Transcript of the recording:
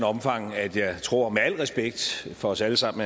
omfang at jeg tror med al respekt for os alle sammen